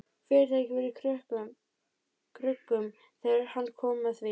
Fyrirtækið var í kröggum þegar hann kom að því.